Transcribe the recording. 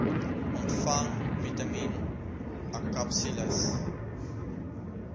ontvang vitamien akapsules